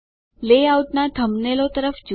લેઆઉટનાં થંબનેલો તરફ જુઓ